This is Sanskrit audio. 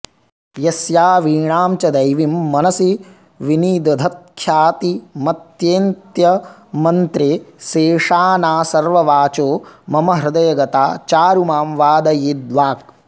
यस्या वीणां च दैवीं मनसि विनिदधत्ख्यातिमेत्यन्त्यमन्त्रे सेशाना सर्ववाचो मम हृदयगता चारु मां वादयेद्वाक्